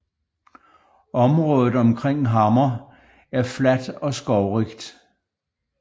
Området omkring Hammer er fladt og skovrigt